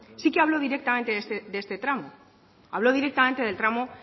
sí que habló directamente de este tramo hablo directamente del tramo